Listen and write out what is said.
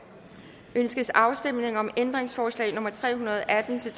ønskes afstemning om ændringsforslag nummer tre hundrede og atten til